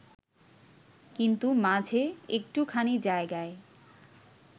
কিন্তু মাঝে একটুখানি জায়গায়